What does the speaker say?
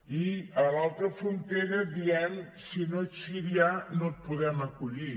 i a l’altra frontera diem si no ets sirià no et podem acollir